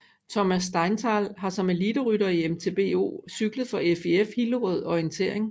Thomas Steinthal har som eliterytter i MTBO cyklet for FIF Hillerød Orientering